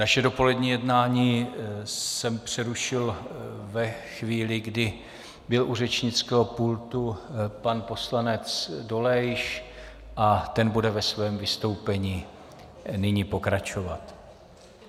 Naše dopolední jednání jsem přerušil ve chvíli, kdy byl u řečnického pultu pan poslanec Dolejš, a ten bude ve svém vystoupení nyní pokračovat.